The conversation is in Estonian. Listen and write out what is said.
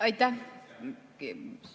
Aitäh!